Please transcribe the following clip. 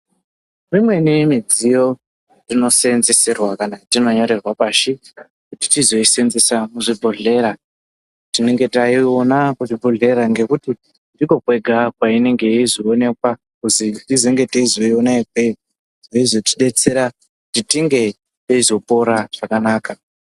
Dzimweni midziyo dzinosenzeserwa kana tinonyorerwa pashi, kuti tizoisenzesa kuzvibhedhlera tinenge taiona kuzvibhedhlera ngekuti ndikona kwega kweinenge yeizoonekwa kuti tizenge teizoiona ikweyo, yeizotidetsera kuti tinge teizopora zvakanaka.